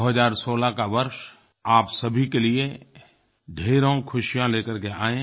2016 का वर्ष आप सभी के लिए ढेरों खुशियाँ ले करके आये